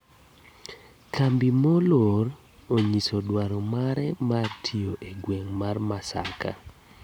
Kambi moror onyiso duaro mare mar tiyo e gweng mar Masaka